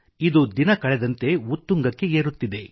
ಇದು ದಿನ ಕಳೆದಂತೆ ಉತ್ತುಂಗಕ್ಕೆ ಏರುತ್ತಿದೆ